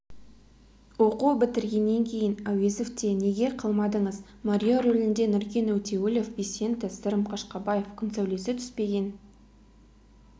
оқу бітіргеннен кейін әуезовте неге қалмадыңыз марио рөлінде нұркен өтеуілов висенто сырым қашқабаев күн сәулесі түспеген